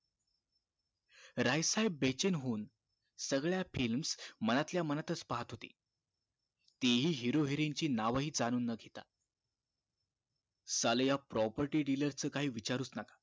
राय साहेब बेचेन होऊन सगळ्या films मनातल्या मनातच पाहत होते तेही hero heroine ची नावंहि जाणुन न घेता साले ह्या property dealers च काही विचारूच नका